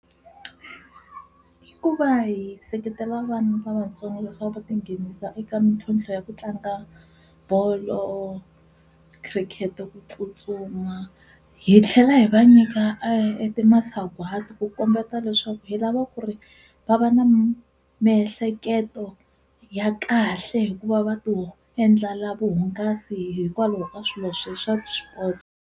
I ku va hi seketela vana lavatsongo leswaku va tinghenisa eka mitlhontlho ya ku tlanga bolo, khirikhete, ku tsutsuma hi tlhela hi va nyika e ti masagwati ku kombeta leswaku hi lava ku ri va va na miehleketo ya kahle hikuva va to endlela vuhungasi hikwalaho ka swilo swa swi-sports.